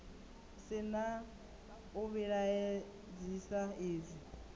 si na u vhilaedzisa izwi